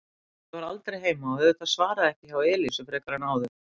Lúlli var aldrei heima og auðvitað svaraði ekki hjá Elísu frekar en áður.